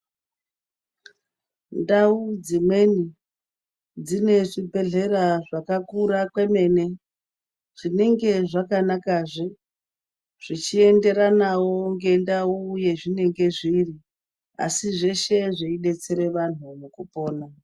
Ndau dzimweni dzine zvibhedhlera zvakakura kwemene zvinenge zvakanaka zvichienderanawo ngendau yazvinenge zviri asi zveshe zveidetsera antu nekupona.